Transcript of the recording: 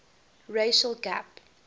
racial gap